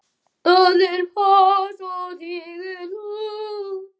Allir pass og tígull út!